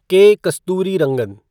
के. कस्तूरीरंगन